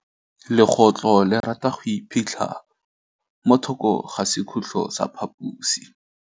Legôtlô le rata go iphitlha mo thokô ga sekhutlo sa phaposi.